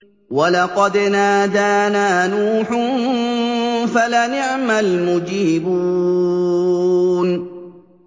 وَلَقَدْ نَادَانَا نُوحٌ فَلَنِعْمَ الْمُجِيبُونَ